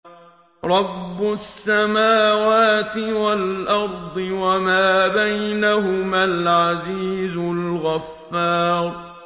رَبُّ السَّمَاوَاتِ وَالْأَرْضِ وَمَا بَيْنَهُمَا الْعَزِيزُ الْغَفَّارُ